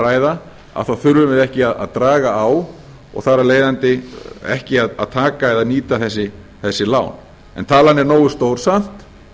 varasjóð að ræða þurfum við ekki að draga á og þar af leiðandi ekki að taka eða nýta þessi lán talan er nógu stór samt